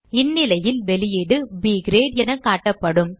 இந்நிலையில் வெளியீடு ப் கிரேட் என காட்டப்படும்